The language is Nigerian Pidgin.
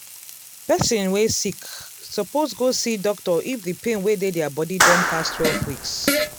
person wey sick suppose go see doctor if the pain wey dey dia body don pass twelve weeks